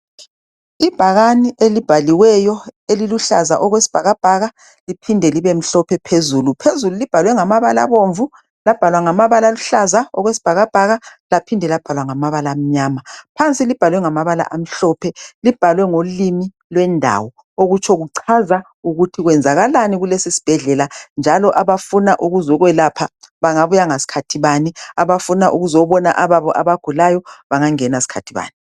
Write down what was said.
Ibhakani elibhaliweyo eliluhlaza okwesibhakabhaka liphinde libe mhlophe phezulu .Phezulu libhalwe ngamabala abomvu, labhalwa ngamabala aluhlaza okwe sibhakabhaka, laphinde labhalwa ngamabala amnyama .Phansi libhalwe ngamabala amhlophe .Libhalwe ngolimi lwendawo okutsho kuchaza ukuthi kwenzakalani kulesisbhedlela .Njalo abafuna ukuzo kwelapha bangabuya ngaskhathi bani .Abafuna ukuzobona ababo abagulayo bangangena skhathi bani .